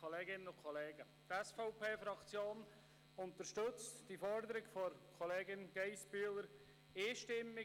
Die SVP-Fraktion unterstützt die Forderung der Kollegin, Grossrätin Geissbühler, einstimmig.